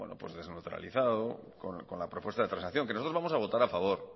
pues desneutralizado con la propuesta de transacción que nosotros vamos a votar a favor